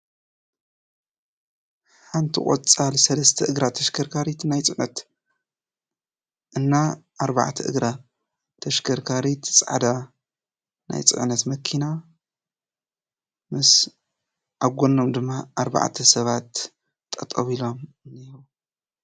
ሓንቲ ቆፃል ሰለስተ እግራ ተሽከርካሪት ናይ ፅዕነት እና ኣርባዕተ እግራ ተሽከርካሪት ፃዕዳ ናይ ፅዕነት መኪና ምስ ኣብ ጎኖም ድማ ኣርባዕተ ሰባት ጠጠው ኢሎም እኒአዉ፡፡